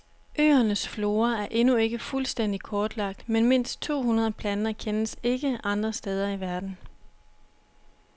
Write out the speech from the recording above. Øernes flora er endnu ikke fuldstændig kortlagt, men mindst to hundrede planter kendes ikke andre steder i verden.